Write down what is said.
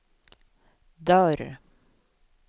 dörr